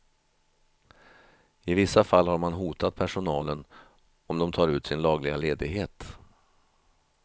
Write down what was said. I vissa fall har man hotat personalen om de tar ut sin lagliga ledighet.